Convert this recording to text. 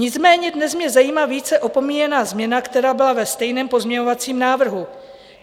Nicméně dnes mě zajímá více opomíjená změna, která byla ve stejném pozměňovacím návrhu.